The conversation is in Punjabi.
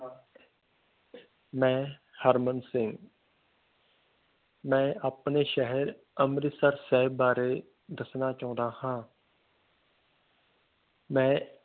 ਮਈ ਹਰਮਨ ਸਿੰਘ ਮਈ ਆਪਣੇ ਸ਼ਹਿਰ ਅੰਮ੍ਰਿਤਸਰ ਸਾਹਿਬ ਬਾਰੇ ਦਸਣਾ ਚਾਹੁੰਦਾ ਹਾਂ ਮਈ